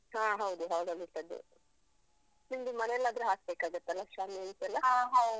ಹಾ. ಹೌದು, hall ಲಿಟ್ಟದ್ದು. ನಿಮ್ದು ಮನೆಯಲ್ಲಾದ್ರೂ ಹಾಕ್ಬೇಕಾಗತ್ತಲ್ಲ ಶಾಮಿಯಾನ್ಸೆಲ್ಲಾ?